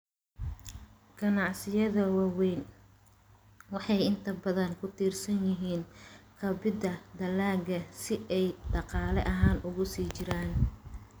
Ganacsiyada waaweyni waxay inta badan ku tiirsan yihiin kabidda dalagga si ay dhaqaale ahaan ugu sii jiraan.